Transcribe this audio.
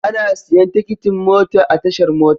Ana siyan tikitin mota a tashar mota.